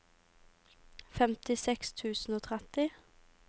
femtiseks tusen og tretti